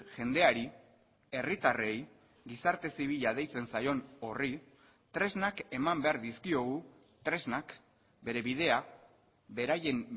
jendeari herritarrei gizarte zibila deitzen zaion horri tresnak eman behar dizkiogu tresnak bere bidea beraien